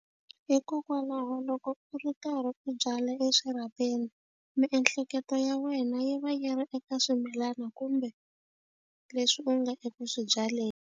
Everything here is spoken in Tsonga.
Hikokwalaho loko u ri karhi u byala eswirhapeni miehleketo ya wena yi va yi ri eka swimilana kumbe leswi u nga eku swi byaleni.